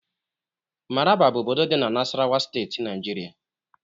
Maraba bụ obodo dị na Nasarawa Steeti Nigeria